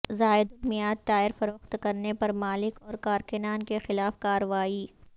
زائد المیعاد ٹائر فروخت کرنے پر مالک اور کارکنان کے خلاف کارروائی